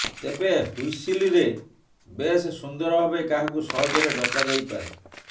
ତେବେ ହ୍ବିସିଲ ରେ ବେଶ ସୁନ୍ଦର ଭାବେ କାହାକୁ ସହଜରେ ଡକାଯାଇପାରେ